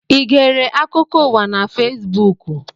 I gere akụkọ ụwa na Fesbuku?